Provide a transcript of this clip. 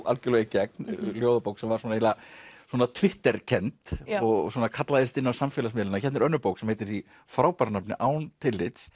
algjörlega í gegn ljóðabók sem var eiginlega svona Twitter kennd og svona kallaðist inn á samfélagsmiðlana hérna er önnur bók sem heitir því frábæra nafni án tillits